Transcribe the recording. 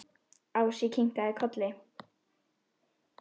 Ási kinkaði kolli.